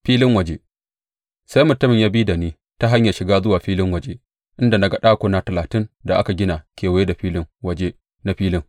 Filin waje Sai mutumin ya bi da ni ta hanyar shiga zuwa filin waje, inda na ga ɗakuna talatin da aka gina kewaye a filin waje na filin.